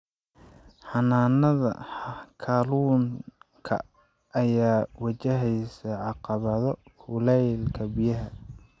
Xanaanada kalluunka ayaa wajahaysa caqabado kuleylka biyaha.